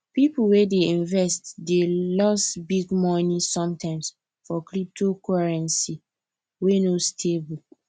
people wey dey invest dey loss big money sometimes for cyptocurrency wey no stable